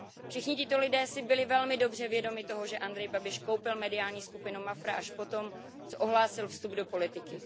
Všichni tito lidé si byli velmi dobře vědomi toho, že Andrej Babiš koupil mediální skupinu MAFRA až potom, co ohlásil vstup do politiky.